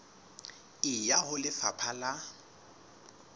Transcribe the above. e ya ho lefapha la